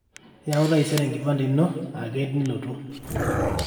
yaau taisere enkipande ino ake nilotu